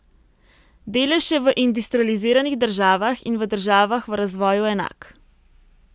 Delež je v industrializiranih državah in v državah v razvoju enak.